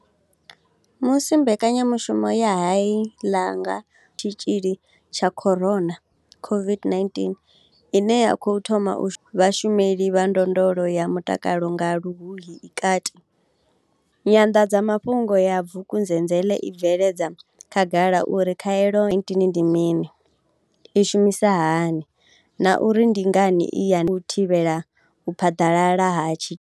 Musi mbekanyamushumo ya u hae la nga Tshitzhili tsha corona COVID-19 ine ya khou thoma vhashumeli vha ndondolo ya mutakalo nga Luhuhi i kati, Nyanḓadzamafhungo ya Vukuzenzele i bveledza khagala uri khaelo ya COVID-19 ndi mini, i shumisa hani na uri ndi ngani i ya u thivhela u phaḓalala ha.